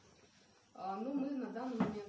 а ну мы на данный момент